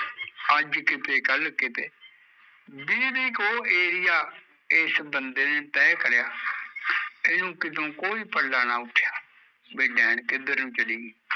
ਅੱਜ ਕਿਤੇ ਕੱਲ੍ ਕਿਤੇ ਵੀਹ ਕੁ ਇਹ ਹੀ ਹਾਂ ਏ ਏਸ ਬੰਦੇ ਨੇ ਤਹਿ ਕਰਿਆ ਇਹਨੁ ਕਿਤੋਂ ਕੋਈ ਨਾ ਪਰਦਾ ਉੱਠਿਆ ਵੀ ਨੈਣ ਕਿੱਧਰ ਨੂ ਚਲੇ ਗਈ